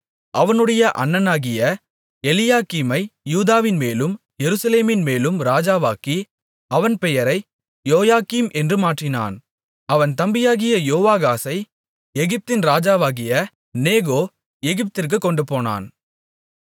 அவனுடைய அண்ணனாகிய எலியாக்கீமை யூதாவின்மேலும் எருசலேமின்மேலும் ராஜாவாக்கி அவன் பெயரை யோயாக்கீம் என்று மாற்றினான் அவன் தம்பியாகிய யோவாகாசை எகிப்தின் ராஜாவாகிய நேகோ எகிப்திற்குக் கொண்டுபோனான்